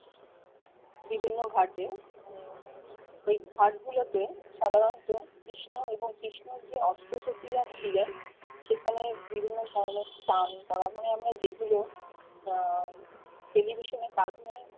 বিভিন্ন ঘাটে ওই ঘাট গুলো তে সাধারনত কৃষ্ণ এবং কৃষ্ণ যে অস্ত্র শচিরা ছিলেন সেখানে বিভিন্ন ধরনের কাম করামই আমরা যেগুলো আহ টেলিভিশনে কাটুনে